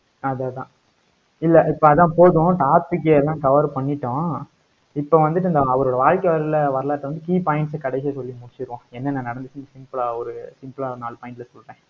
அது அதான் இல்லை, இப்ப அதான் போதும் topic எல்லாம் cover பண்ணிட்டோம். இப்ப வந்துட்டு இந்த அவரு வாழ்க்கை வர~ வரலாற்றை வந்து key points கடைசியா சொல்லி முடிச்சிருவோம் என்னென்ன நடந்துச்சுன்னு simple ஆ ஒரு simple அ நாலு point ல சொல்றேன்.